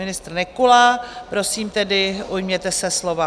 Ministr Nekula, prosím tedy, ujměte se slova.